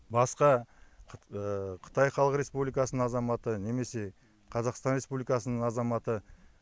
басқа қытай халық республикасының азаматы немесе қазақстан республикасының азаматы